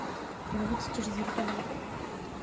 пробуйте через виртуалку